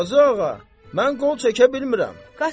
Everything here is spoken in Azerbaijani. Qazıağa, mən qol çəkə bilmirəm.